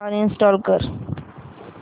uninstall कर